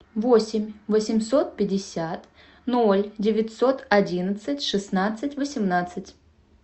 восемь восемьсот пятьдесят ноль девятьсот одинадцать шестнадцать восемнадцать